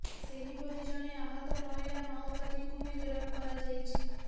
ସେହିପରି ଜଣେ ଆହତ ମହିଳା ମାଓବାଦୀକୁ ବି ଗିରଫ କରାଯାଇଛି